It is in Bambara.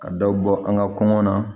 Ka daw bɔ an ka kɔngɔ na